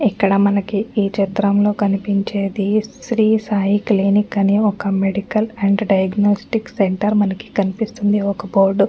ఇక్కడ మనకి ఈచిత్రంలో కనిపించేది శ్రీ సాయి క్లినిక్ అని ఒక మెడికల్ అండ్ డయాగ్నొస్టిక్ సెంటరు మనకి కనిపిస్తోంది ఒక బోర్డ్ --